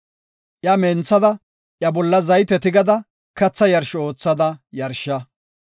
Iya menthada iya bolla zayte tigada katha yarsho oothada yarsha.